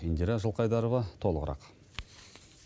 индира жылқайдарова толығырақ